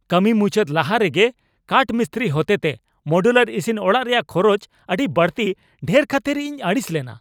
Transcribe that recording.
ᱠᱟᱹᱢᱤ ᱢᱩᱪᱟᱹᱫ ᱞᱟᱦᱟᱨᱮ ᱜᱮ ᱠᱟᱴᱼᱢᱤᱥᱛᱨᱤ ᱦᱚᱛᱮᱛᱮ ᱢᱚᱰᱩᱞᱟᱨ ᱤᱥᱤᱱ ᱚᱲᱟᱜ ᱨᱮᱭᱟᱜ ᱠᱷᱚᱨᱚᱪ ᱟᱹᱰᱤ ᱵᱟᱹᱲᱛᱤ ᱰᱷᱮᱨ ᱠᱷᱟᱹᱛᱤᱨ ᱤᱧ ᱟᱹᱲᱤᱥ ᱞᱮᱱᱟ ᱾